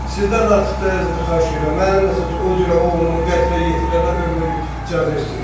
Sizdən artıq dərəcədə xahiş eləyirəm, mənim məsəl üçün o cürə oğlumu qətlə yetirilənə ömürlük cəza istəyirəm.